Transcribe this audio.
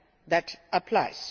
that applies.